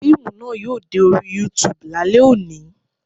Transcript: Fíìmù náà yóò dé orí YouTube lálẹ́ òní